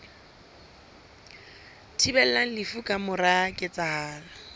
thibelang lefu ka mora ketsahalo